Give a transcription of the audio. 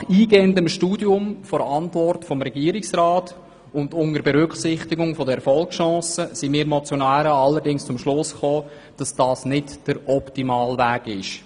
Nach eingehendem Studium der Regierungsantwort und unter Berücksichtigung der Erfolgschancen, sind wir Motionäre allerdings zum Schluss gekommen, dass das nicht der optimale Weg ist.